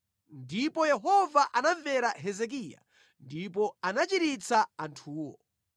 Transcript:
Ndipo Yehova anamvera Hezekiya ndipo anachiritsa anthuwo.